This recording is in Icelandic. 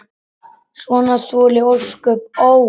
Svona þoli ósköp, ó!